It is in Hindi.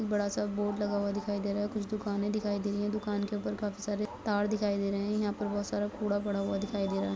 एक बड़ा सा बोर्ड लगा हुआ दिखाई दे रहा है कुछ दुकानें दिखाई दे रही हैं दुकान के ऊपर काफी सारे तार दिखाई दे रहें हैं यहाँ पर बहुत सारा कूड़ा पड़ा हुआ दिखाई दे रहा है।